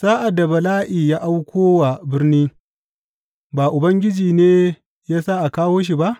Sa’ad da bala’i ya auko wa birni, ba Ubangiji ne ya sa a kawo shi ba?